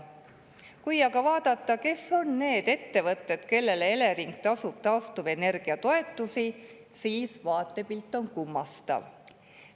Kui aga vaadata, kes on need ettevõtted, kellele Elering taastuvenergia toetust tasub, siis vaatepilt on kummastav.